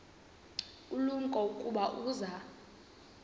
ulumko ukuba uza